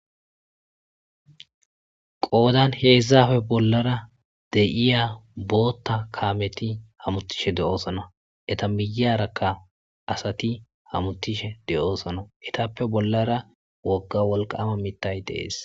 qoodan heezaafe bollara de'iya bootta kaameti hamutishe de'oosana eta miyarakka asati hamutishe de'oosana itappe bollara wogga wolqama mitay dee'es